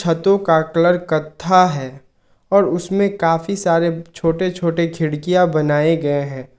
छत्तों का कलर कत्था है और उसमें काफी सारे छोटे छोटे खिड़कियां बनाए गए हैं।